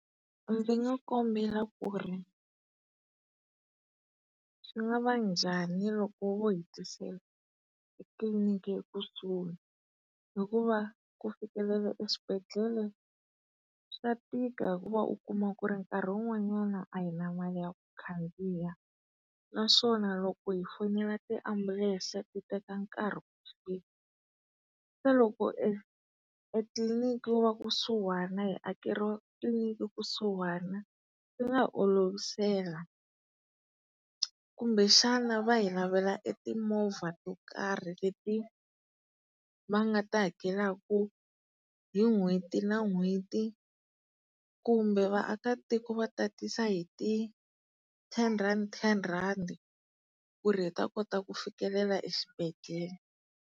Ndzi nga kombela ku ri swi nga va njhani loko vo hi tisela etliliniki ekusuhi hikuva ku fikelela eswibedhlele swa tika hikuva u kuma ku ri nkarhi wun'wanyana a hi na mali ya ku khandziya naswona loko hi fonela tiambulense ti teka nkarhi ku fika. Se loko e etliliniki wo va kusuhana hi akeriwa tliliniki kusuhana swi nga olovisela. Kumbexana va hi lavela e timovha to karhi leti va nga ta hakelaka hi n'hweti na n'hweti kumbe vaakatiko va tatisa hi ti ten rand ten randi ku ri hi ta kota ku fikelela eswibedhlele.